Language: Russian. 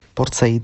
порт саид